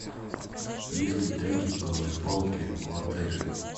есть ли трекинговые палки в отеле